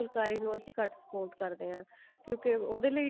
ਫੁਲਕਾਰੀ ਨੂੰ ਅਸੀਂ ਘੱਟ support ਕਰਦੇ ਹਾਂ ਕਿਉਂਕਿ ਉਹਦੇ ਲਈ